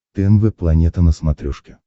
тнв планета на смотрешке